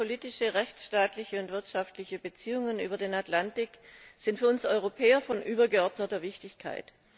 Starke politische rechtsstaatliche und wirtschaftliche Beziehungen über den Atlantik sind für uns Europäer von übergeordneter Wichtigkeit.